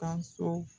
Ka so